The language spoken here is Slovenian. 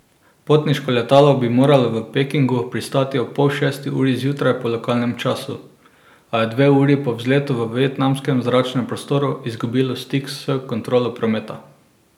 Potniško letalo bi moralo v Pekingu pristati ob pol šesti uri zjutraj po lokalnem času, a je dve uri po vzletu v vietnamskem zračnem prostoru izgubilo stik s kontrolo prometa.